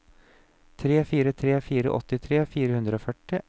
tre fire tre fire åttitre fire hundre og førti